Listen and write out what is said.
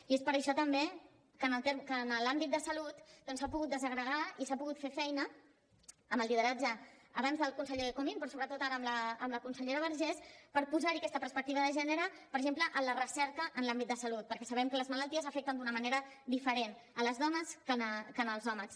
i és per això també que en l’àmbit de salut doncs s’ha pogut desagregar i s’ha pogut fer feina amb el lideratge abans del conseller comín però sobretot ara amb la consellera vergés per posar hi aquesta perspectiva de gènere per exemple en la recerca en l’àmbit de salut perquè sabem que les malalties afecten d’una manera diferent les dones que els homes